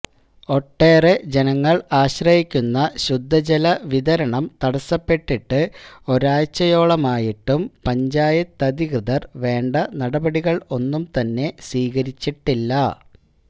ഒട്ടേറെ ജനങ്ങള് ആശ്രയിക്കുന്ന ശുദ്ധ ജല വിതരണം തടസ്സപ്പെട്ടിട്ട് ഒരാഴ്ച്ചയോളമായിട്ടും പഞ്ചായത്തധികൃതര് വേണ്ട നടപടികള് ഒന്നും തന്നെ സ്വീകരിച്ചിട്ടില്ല